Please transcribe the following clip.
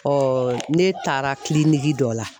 ne taara dɔ la.